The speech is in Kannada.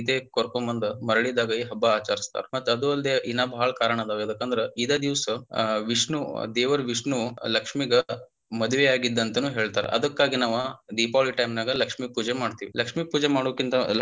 ಕರಕೊಂಡ ಬಂದ ಮರಳಿದಾಗ ಈ ಹಬ್ಬ ಆಚರಿಸ್ತಾರ ಮತ್ತ ಅದು ಅಲ್ದೆ ಇನ್ನ ಬಾಳ ಕಾರಣ ಅದಾವ ಯದಕಂದ್ರ ಇದ ದಿವಸ ಅಹ್ ವಿಷ್ಣು ದೇವರ ವಿಷ್ಣು ಲಕ್ಷ್ಮಿಗ ಮದವಿ ಆಗಿದ್ದಾ ಅಂತನು ಹೇಳ್ತಾರ ಅದಕ್ಕಾಗಿ ನಾವ ದೀಪಾವಳಿ time ನಾಗಲಕ್ಷ್ಮಿ ಪೂಜೆ ಮಾಡ್ತಿವಿ, ಲಕ್ಷ್ಮಿ ಪೂಜೆ ಮಾಡುಕಿಂತ.